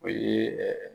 O ye ɛɛ